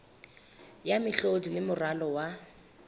ya mehlodi le moralo wa